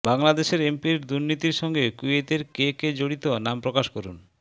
বাংলাদেশের এমপির দুর্নীতির সঙ্গে কুয়েতের কে কে জড়িত নাম প্রকাশ করুন